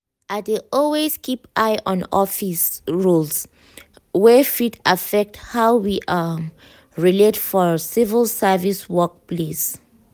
i dey always keep eye on office um rules wey fit affect how we um relate for civil service work place.